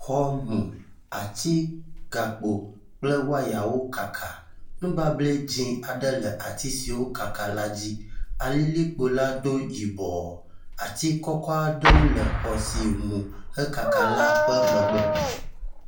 Xɔ mu, ati, gakpo kple wayawo kaka. Nubable dze aɖe le ati siwo kaka la dzi. Alilikpo la do yibɔ. Ati kɔkɔ aɖewo le xɔ si mu hekaka la ƒe megbe.